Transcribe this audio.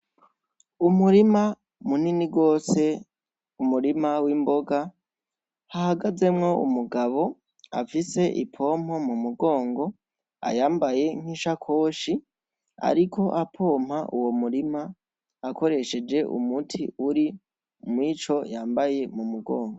Umurima munini rwose umurima w'imboga hahagazemwo umugabo afise ipompo mu mugongo ayambaye nk'ishakoshi, ariko apompa uwo murima akoresheje umuti uri mw'ico yambaye mu mugongo.